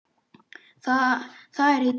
Það er í tísku.